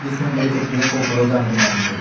इसमें मेरे को बैंक ऑफ बड़ौदा नजर आ रही है।